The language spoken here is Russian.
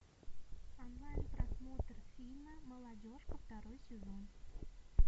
онлайн просмотр фильма молодежка второй сезон